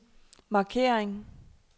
markering